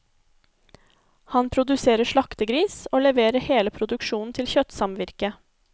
Han produserer slaktegris, og leverer hele produksjonen til kjøttsamvirket.